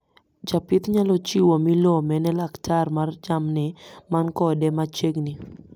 Japith nyalo chiwo milome ne laktar mar jamni man kode machegni